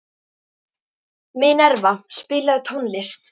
Minerva, spilaðu tónlist.